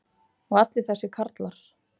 og allir þessir karlar.